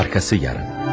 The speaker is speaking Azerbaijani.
Ardı sabah.